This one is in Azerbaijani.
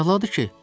Əladır ki!